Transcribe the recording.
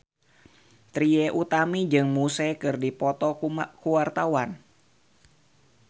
Trie Utami jeung Muse keur dipoto ku wartawan